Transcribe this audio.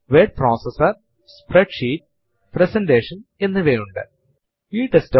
അതുപോലെ തന്നെ ഒരു ലിനക്സ് ഫൈൽ എന്നത് ഇൻഫർമേഷൻ നുകളെ സൂക്ഷിക്കുന്നതിനുള്ള ഒരു കണ്ടെയ്നർ ആണ്